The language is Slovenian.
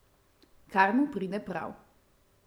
Kar mu pride prav.